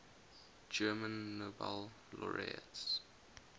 german nobel laureates